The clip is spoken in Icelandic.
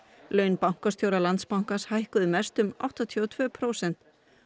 laun bankastjóra Landsbankans hækkuðu mest um áttatíu og tvö prósent